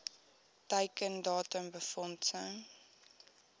teiken datum befondsing